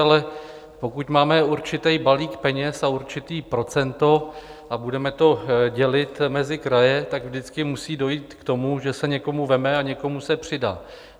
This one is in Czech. Ale pokud máme určitý balík peněz a určité procento a budeme to dělit mezi kraje, tak vždycky musí dojít k tomu, že se někomu vezme a někomu se přidá.